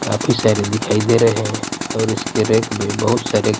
काफी सारे दिखाई दे रहे हैं और इसके रेक में बहुत सारे--